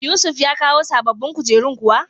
Yusuf ya kawo sababbin kujerun kuwa?